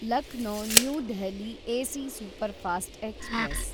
Lucknow new Delhi AC superfast express